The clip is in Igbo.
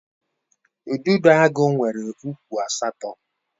Udidoagu nwere ụkwụ asatọ.